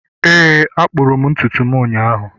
Éè a kpụrụ m ntutu ụnyahụ